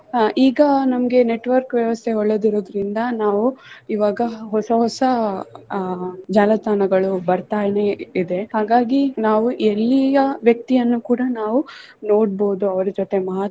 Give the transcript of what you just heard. ಈಗ ನಮ್ಗೆ network ವ್ಯವಸ್ಥೆ ಒಳ್ಳೆದಿರುವುದರಿಂದ ನಾವು ಈವಾಗ ಹೊಸ ಹೊಸ ಅಹ್ ಜಾಲತಾಣಗಳು ಬರ್ತಾನೆ ಇದೆ ಹಾಗಾಗಿ ನಾವು ಎಲ್ಲಿಯ ವ್ಯಕ್ತಿಯನ್ನು ಕೂಡಾ ನಾವು ನೋಡ್ಬಹುದು ಅವರ ಜೊತೆ.